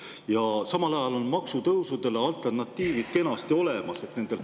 Ja samal ajal on maksutõusudele alternatiivid kenasti olemas.